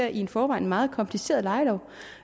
i forvejen meget kompliceret lejelov